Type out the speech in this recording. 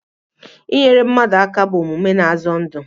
Inyere mmadụ aka bụ omume na-azọ ndụ